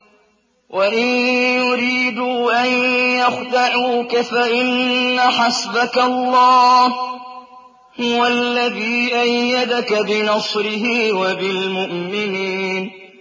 وَإِن يُرِيدُوا أَن يَخْدَعُوكَ فَإِنَّ حَسْبَكَ اللَّهُ ۚ هُوَ الَّذِي أَيَّدَكَ بِنَصْرِهِ وَبِالْمُؤْمِنِينَ